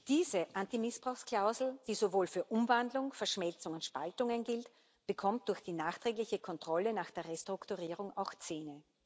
Diese Antimissbrauchsklausel, die sowohl für Umwandlung, Verschmelzungen und Spaltungen gilt, bekommt durch die nachträgliche Kontrolle nach der Restrukturierung auch Zähne.